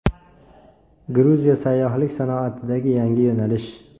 Gruziya sayyohlik sanoatidagi yangi yo‘nalish.